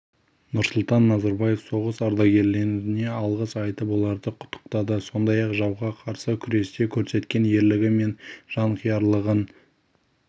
нұрсұлтан назарбаев соғыс ардагерлеріне алғыс айтып оларды құттықтады сондай-ақ жауға қарсы күресте көрсеткен ерлігі мен жанқиярлығын